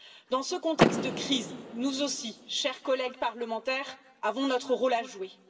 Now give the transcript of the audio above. Dans ce contexte de crise, nous aussi, chers collègues parlementaires, avons notre rôle à jouer.